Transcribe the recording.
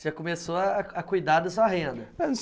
Você começou a a cuidar da sua renda.